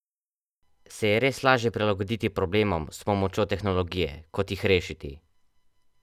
Se je res lažje prilagoditi problemom s pomočjo tehnologije, kot jih rešiti?